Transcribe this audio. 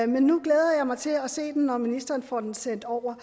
men nu glæder jeg mig til at se den når ministeren får den sendt over